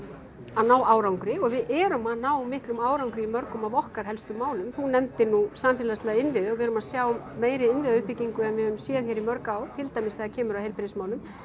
að ná árangri og við erum að ná miklum árangri í mörgum af okkar helstu málum þú nefndir nú samfélagslega innviði og við erum að sjá meiri innviðauppbyggingu heldur en við höfum séð í mörg ár til dæmis þegar kemur að heilbrigðismálum